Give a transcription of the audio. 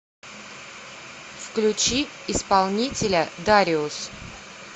включи исполнителя дариус